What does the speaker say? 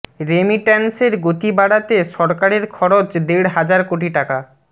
রেমিট্যান্সের গতি বাড়াতে সরকারের খরচ দেড় হাজার কোটি টাকা